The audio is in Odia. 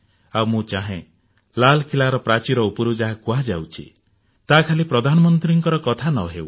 ଆଉ ମୁଁ ଚାହେଁ ଲାଲକିଲ୍ଲାର ପ୍ରାଚୀର ଉପରୁ ଯାହା କୁହାଯାଉଛି ତାହା ଖାଲି ପ୍ରଧାନମନ୍ତ୍ରୀର କଥା ନହେଉ